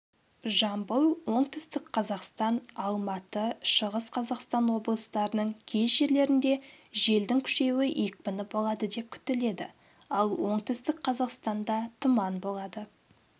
жамбыл оңтүстік қазақстан алматы шығыс қазақстан облыстарының кей жерлерінде желдің күшеюі екпіні болады деп күтіледі ал оңтүстік қазақстанда тұман болады